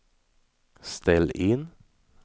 ställ in